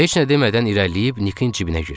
Heç nə demədən irəliləyib Nikin cibinə girdik.